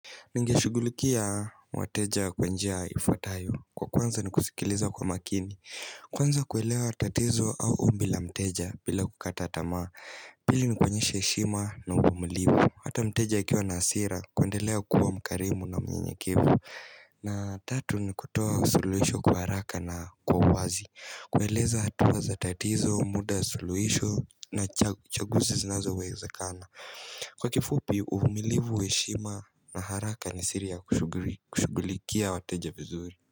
Ningeshugulukia wateja kwa njia ifuatayo. Kwa kwanza ni kusikiliza kwa makini Kwanza kuelewa tatizo au ombi la mteja bila kukata tama Pili ni kuonyesha heshima na uvumilivu. Hata mteja akiwa na hasira kuendelea kuwa mkarimu na mnyenyekevu na tatu ni kutoa suluhisho kwa haraka na kwa wazi kueleza hatua za tatizo, muda wa suluhisho na chaguzi zinazowezekana. Kwa kifupi uvumilivu, heshima na haraka ni siri ya kushughulikia wateja vizuri.